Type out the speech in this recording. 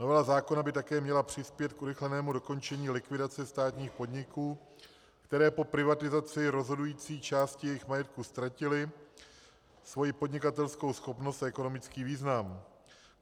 Novela zákona by také měla přispět k urychlenému dokončení likvidace státních podniků, které po privatizaci rozhodující části jejich majetku ztratily svoji podnikatelskou schopnost a ekonomický význam.